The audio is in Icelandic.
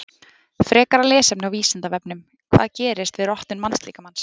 Frekara lesefni á Vísindavefnum: Hvað gerist við rotnun mannslíkamans?